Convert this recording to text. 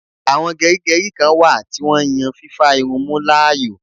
Àwọn gerigeri kán wà tí wón yàn fífà irun mú láàyò